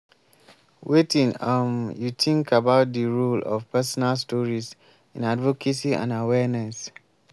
wetin um you think about di role of personal stories in advocacy and awareess?